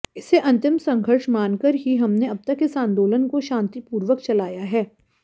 इसे अंतिम संघर्ष मानकर ही हमने अब तक इस आंदोलन को शान्तिपूर्वक चलाया है